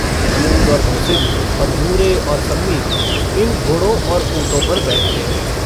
महमूद और मोहसिन और नूरे और सम्मी इन घोड़ों और ऊँटों पर बैठते हैं।